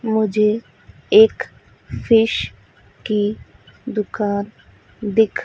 मुझे एक फिश की दुकान दिख--